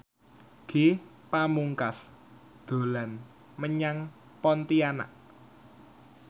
Ge Pamungkas dolan menyang Pontianak